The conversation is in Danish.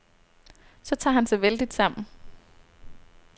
Så tager han sig vældigt sammen.